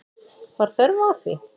Var þörf á því?